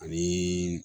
Ani